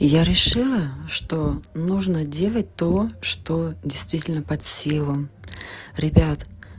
я решила что нужно делать то что действительно под силам ребят